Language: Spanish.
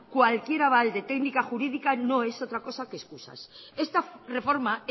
cualquier aval de técnica jurídica no es otra cosa que excusas esta reforma